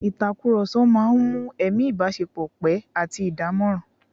Ìtàkùrọ̀sọ máa ń mú ẹ̀mí ìbáṣepọ̀ pẹ́ àti dánmọ́nrán